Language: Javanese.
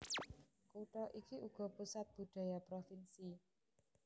Kutha iki uga pusat budaya provinsi